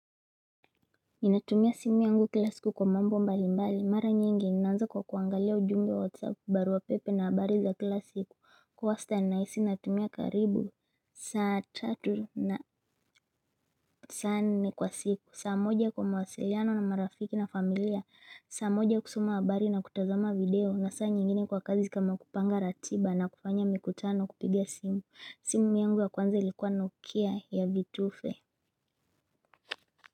Ninatumia simu yangu kila siku kwa mambo mbali mbali mara nyingi naanza kwa kuangalia ujumbe wa whatsapp barua pepe na habari za kila siku kwa wastan nahisi natumia karibu saa tatu na saa nne kwa siku saa moja kwa mawasiliano na marafiki na familia saa moja kusoma habari na kutazama video na saa nyingine kwa kazi kama kupanga ratiba na kufanya mikutano kupiga simu simu yangu ya kwanza ilikuwa nokia ya vitufe.